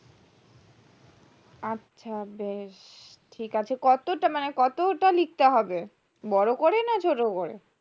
আচ্ছা বেশ ঠিক আছে কতটা লিখতে হবে বড়ো করে না ছোটো করে